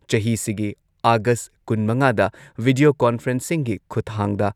ꯆꯍꯤꯁꯤꯒꯤ August ꯀꯨꯟꯃꯉꯥꯗ video ꯀꯣꯟꯐꯔꯦꯟꯁꯤꯡꯒꯤ ꯈꯨꯊꯥꯡꯗ